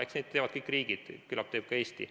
Eks neid teevad kõik riigid, küllap teeb ka Eesti.